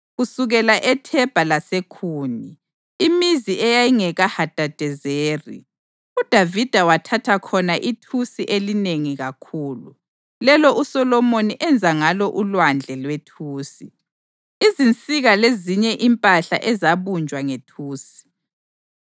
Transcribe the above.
Kusukela eThebha laseKhuni, imizi eyayingekaHadadezeri, uDavida wathatha khona ithusi elinengi kakhulu, lelo uSolomoni enza ngalo uLwandle lwethusi, izinsika lezinye impahla ezabunjwa ngethusi.